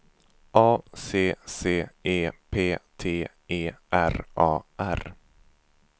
A C C E P T E R A R